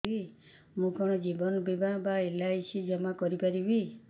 ମୁ କଣ ଜୀବନ ବୀମା ବା ଏଲ୍.ଆଇ.ସି ଜମା କରି ପାରିବି